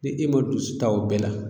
Ni e ma dusu ta o bɛɛ la